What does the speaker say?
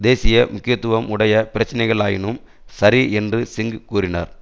தேசிய முக்கியத்துவம் உடைய பிரச்சினைகளாயினும் சரி என்று சிங் கூறினார்